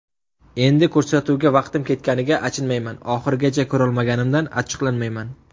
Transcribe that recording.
Endi ko‘rsatuvga vaqtim ketganiga achinmayman, oxirigacha ko‘rolmaganimdan achchiqlanmayman.